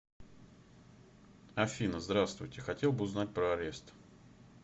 афина здравствуйте хотел бы узнать про арест